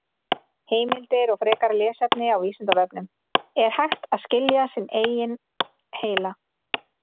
Heimildir og frekara lesefni á Vísindavefnum: Er hægt að skilja sinn eigin heila?